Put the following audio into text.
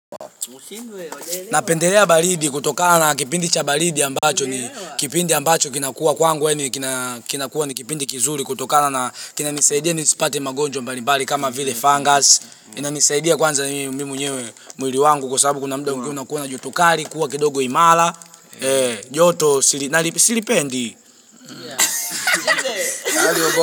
Napendelea baridi kutoka na kipindi cha baridi ambacho ni kipindi ambacho kinakua kwangu yani kinakua ni kipindi kizuri kutokana kinanisaidia nisipate magonjwa mbalibali kama vile fungus inanisaidia kwanza mimi mwenyewe mwili wangu kwa sababu kuna muda kunakuwa na jotokali kuwa kidogo imara Yoto silipendi.